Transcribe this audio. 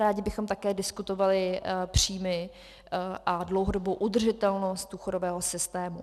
Rádi bychom také diskutovali příjmy a dlouhodobou udržitelnost důchodového systému.